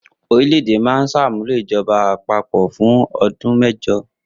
Orílẹ̀-èdè náà ṣàmúlò ìjọba àpapọ̀ fún ọdún mẹ́jọ.